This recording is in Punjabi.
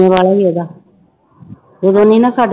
ਉਹਦਾ ਉਦੋਂ ਨੀ ਨਾ ਸਾਡੇ